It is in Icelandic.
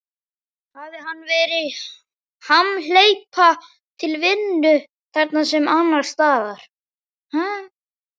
Hafi hann verið hamhleypa til vinnu, þarna sem annars staðar.